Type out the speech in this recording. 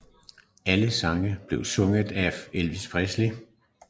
Alle sangene blev sunget af Elvis Presley